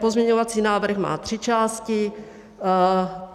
Pozměňovací návrh má tři části.